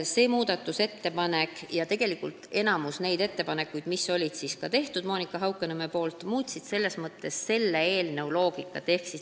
See muudatusettepanek muutis eelnõu loogikat, mida tegi tegelikult enamik Monika Haukanõmme ettepanekutest.